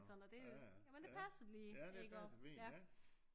Sådan at det øh det passer lige iggå